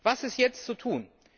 Was ist jetzt zu tun?